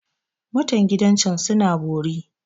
Mutan gidan can suna bori.